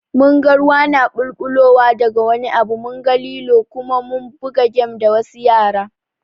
Mun ga ruwa na ɓulɓulowa da ga wani abu, munga lilo Kuma mun buga gem da wasu yara.